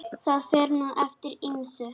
Það fer nú eftir ýmsu.